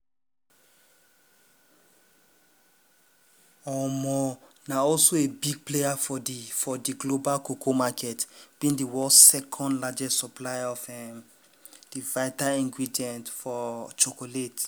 na also a big player for di for di global cocoa market being di world second largest supplier of um di vital ingredient um of chocolate.